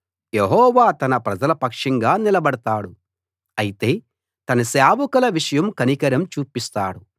యెహోవా తన ప్రజల పక్షంగా నిలబడతాడు అయితే తన సేవకుల విషయం కనికరం చూపిస్తాడు